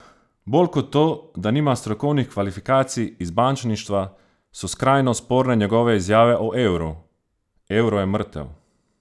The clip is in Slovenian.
Bolj kot to, da nima strokovnih kvalifikacij iz bančništva, so skrajno sporne njegove izjave o evru: "Evro je mrtev.